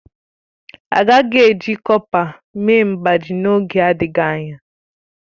A gaghị eji kọpa mee mgbájí n'oge adịghị anya.